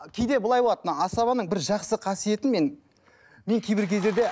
кейде былай болады мына асабаның бір жақсы қасиетін мен мен кейбір кездерде